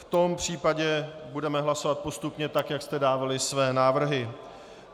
V tom případě budeme hlasovat postupně tak, jak jste dávali své návrhy.